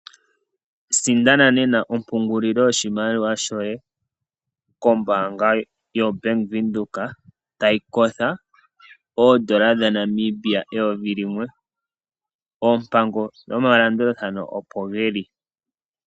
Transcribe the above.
Sindana nena ompungulilo yoshimaliwa shoye kombaanga yoBank Windhoek tayi kotha oondola dhaNamibia eyovi limwe. Oompango nomalandulathano opo geli.